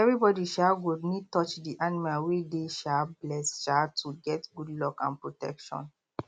everybody um go need touch the animal wey dey um blessed um to get good luck and protection